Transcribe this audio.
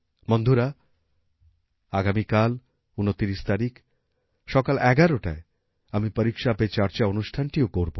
বন্ধুরা আগামীকাল ২৯ তারিখ সকাল ১১টায় আমি পরীক্ষা পে চর্চা অনুষ্ঠানটিও করব